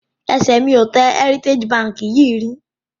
Ẹsẹ̀ mi ò tẹ Heritage Bank yìí rí